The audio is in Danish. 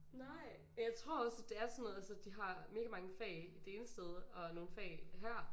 Nej men jeg tror også at det er sådan noget altså de har mega mange fag det ene sted og nogle fag her